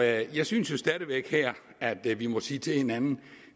jeg synes jo stadig væk at vi må sige til hinanden at